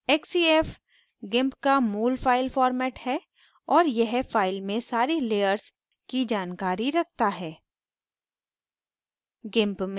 xcf gimp का मूल file format है और यह file में सारी layers की जानकारी रखता है